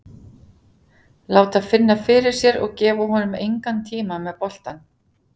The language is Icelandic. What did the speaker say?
Láta finna fyrir sér og gefa honum engan tíma með boltann.